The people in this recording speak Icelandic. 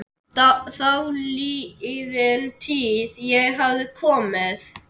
Þáliðin tíð- ég hafði komið